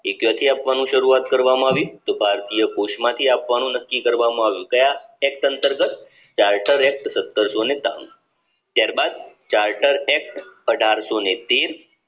એ ક્યાંથી આપવાનું શરૂવાત કરવામાં આવ્યું તો ભારતીય કોષમાંથી આપવાનું નક્કી કરવામાં આવ્યુ કયા sect સંસદ act સતરસોને તાણું ત્યારબાદ act અઢારશોને તેર